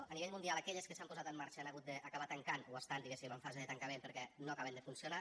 a nivell mundial aquelles que s’han posat en marxa han hagut d’acabar tancant o estan diguéssim en fase de tancament perquè no acaben de funcionar